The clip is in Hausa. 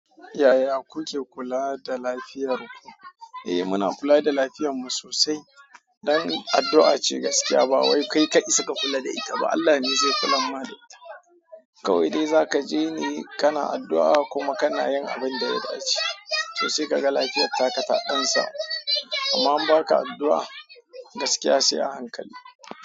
Yaya kuke kula da lafiyar ku? Eh muna kula da lafiyan mu sosai. Dan addu'a gaskiya bawai kai ka isa ka kula da ita ba Allah ne ze kulan ma da ita kawai de zakaje ne kana addu'a kuma kanayin abinda ya dace so se ka ga lafiyatta ka taɗansamu. Amma in ba ka addu'a gaskiya sai a hankali.